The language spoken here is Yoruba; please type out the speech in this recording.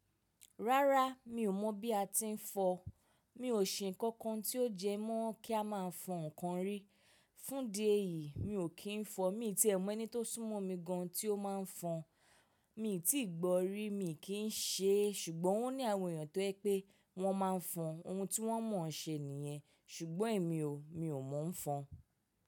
Rárá, mi ò mọ̀ bí a ti ń fọ. Mi ò ṣe nǹkan kan tí ó jẹ mọ́ kí a máa fọ ǹkan rí. Fún di ẹ yìí, mi ò kí ń fọ. Mi ti è mọ̀ ẹni tó sún mọ́ mi gan tí ó máa ń fọ. Mi ò tíì gbọ rí, mi kì í ṣe é. Ṣùgbọ́n wọ́n ní àwọn èèyàn tó ẹ pé wọ́n máa ń fọ ohun tí wọ́n mọ̀ ọ́n ṣe nìyẹn. Ṣùgbọ́n èmi o, mi ò mọ̀ ń fọ.